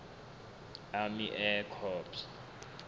army air corps